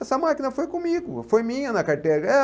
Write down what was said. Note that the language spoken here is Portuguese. Essa máquina foi comigo, foi minha na carteira. Eh